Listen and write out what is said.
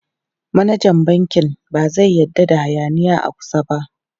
Manajan bankin ba zai yarda da hayaniya a kusa ba.